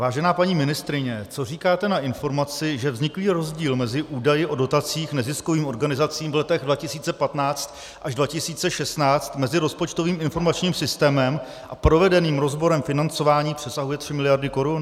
Vážená paní ministryně, co říkáte na informaci, že vzniklý rozdíl mezi údaji o dotacích neziskovým organizacím v letech 2015 až 2016 mezi rozpočtovým informačním systémem a provedeným rozborem financování přesahuje tři miliardy korun?